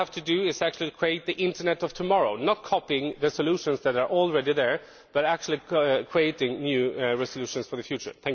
What we have to do is to create the internet of tomorrow, not copying the solutions that are already there but actually creating new solutions for the future.